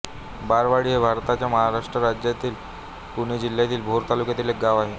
बाळवाडी हे भारताच्या महाराष्ट्र राज्यातील पुणे जिल्ह्यातील भोर तालुक्यातील एक गाव आहे